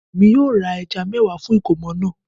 Èmi yóò ra ẹja mẹ́wàá fún ìkómọ̀ náà